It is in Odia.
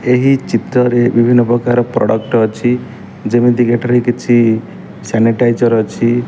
ଏହି ଚିତ୍ରରେ ବିଭିନ୍ନ ପ୍ରକାର ପ୍ରଡକ୍ଟ୍ ଅଛି ଯେମିତିକି ଏଠାରେ କିଛି ସାନିଟାଇଜର ଅଛି।